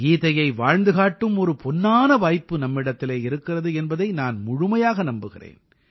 கீதையை வாழ்ந்து காட்டும் ஒரு பொன்னான வாய்ப்பு நம்மிடத்திலே இருக்கிறது என்பதை நான் முழுமையாக நம்புகிறேன்